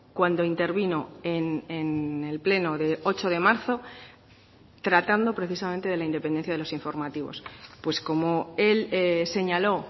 cuando intervino en el pleno de ocho de marzo tratando precisamente de la independencia de los informativos pues como el señaló